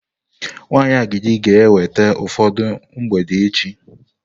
Nwanyị agidi ga-eweta ụfọdụ mgbede echi.